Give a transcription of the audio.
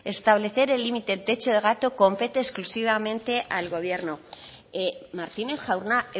establecer el límite el techo de gasto compete exclusivamente al gobierno martínez jauna